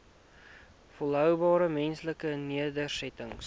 volhoubare menslike nedersettings